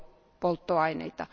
biopolttoaineita.